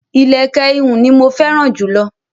Ilẹ̀kẹ̀ ihùn ní mọ fẹ́ràn jùlọ.